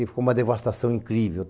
E ficou uma devastação incrível.